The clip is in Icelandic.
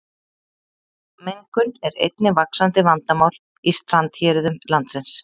Mengun er einnig vaxandi vandamál í strandhéruðum landsins.